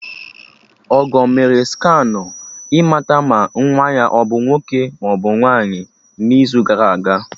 Ọgọ mee scanụ ịmata ma nwa ya abụ nwoke maọbụ nwaanyị n'izu gara aga